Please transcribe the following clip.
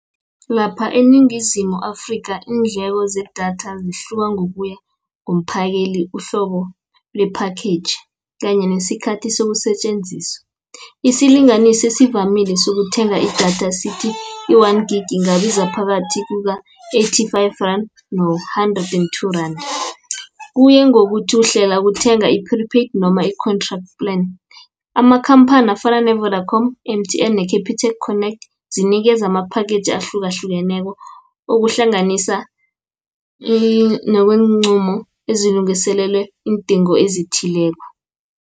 Lapha eNingizimu Afrika iindleko zedatha zihluka ngokuya ngomphakeli, uhlobo lephakhetjhi, kanye nesikhathi sokusetjenziswa. Isilinganiso esivamile sokuthenga idatha sithi, i-one-Gigi ingabiza phakathi kuka-thirty-five rand, no-hundred and two-rand. Kuya ngokuthi uhlela ukuthenga i-prepaid noma i-contract plan. Amakhamphani afana ne-Vodacom, M_T_N, ne-Capitec connect zinikeza amaphakhetjhi ahlukahlukeneko. ukuhlanganisa nokweenqumo azilungiselelwe iindingo ezithileko.